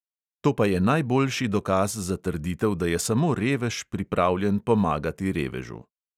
To pa je najboljši dokaz za trditev, da je samo revež pripravljen pomagati revežu.